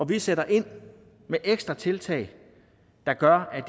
vi sætter ind med ekstra tiltag der gør at